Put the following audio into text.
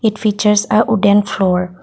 it features ya wooden floor.